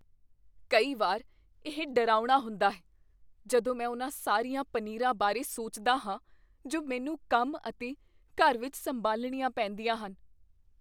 ਕਈ ਵਾਰ ਇਹ ਡਰਾਉਣਾ ਹੁੰਦਾ ਹੈ ਜਦੋਂ ਮੈਂ ਉਹਨਾਂ ਸਾਰੀਆਂ ਪਨੀਰਾਂ ਬਾਰੇ ਸੋਚਦਾ ਹਾਂ ਜੋ ਮੈਨੂੰ ਕੰਮ ਅਤੇ ਘਰ ਵਿੱਚ ਸੰਭਾਲਣੀਆਂ ਪੈਂਦੀਆਂ ਹਨ।